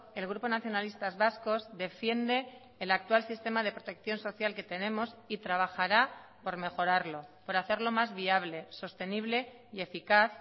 el grupo nacionalistas vascos defiende el actual sistema de protección social que tenemos y trabajará por mejorarlo por hacerlo más viable sostenible y eficaz